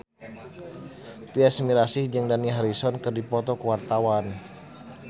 Tyas Mirasih jeung Dani Harrison keur dipoto ku wartawan